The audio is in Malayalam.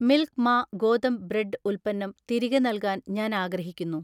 മിൽക്ക് മാ ഗോതമ്പ് ബ്രെഡ്ഡ് ഉൽപ്പന്നം തിരികെ നൽകാൻ ഞാൻ ആഗ്രഹിക്കുന്നു